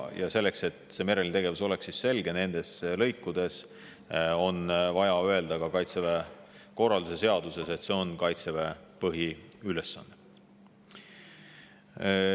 Ja selleks, et see mereline tegevus oleks selge nendes lõikudes, on vaja öelda ka Kaitseväe korralduse seaduses, et see on Kaitseväe põhiülesanne.